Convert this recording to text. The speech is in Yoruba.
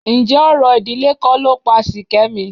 Ǹjẹ́ orò ìdílé kọ́ ló pa Ṣìkẹ́mi?